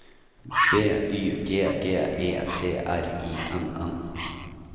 B Y G G E T R I N N